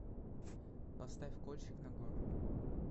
поставь кольщик нагоры